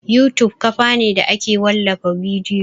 YouTube kafa ne da ake wallafa bidiyo